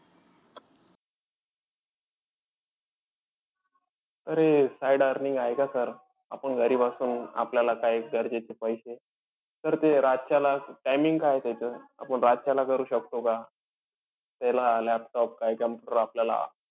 अरे! side earning आहे का sir? आपण घरी बसून आपल्याला काही गरजेचे पैसे. Sir ते रातच्याला timing काय आहे त्याचं? आपण रातच्याला करू शकतो का? त्याला laptop काई computer आपल्याला